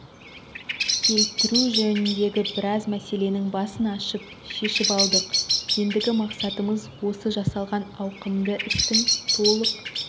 келтіру жөнінде біраз мәселенің басын ашып шешіп алдық ендігі мақсатымыз осы жасалған ауқымды істің толық